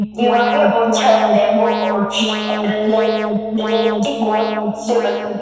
दीवारें और छत बैंबू और ले से बनी हैं।